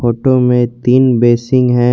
Photo में तीन basin है।